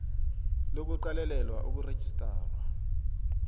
lo kuqalelela ukurejistarwa